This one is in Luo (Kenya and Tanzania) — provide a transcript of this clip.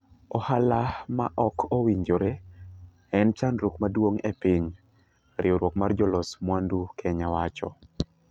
Ohala ma ok owinjore en chandruok maduong ne piny," riwruok mar jolos muandu kenya wacho.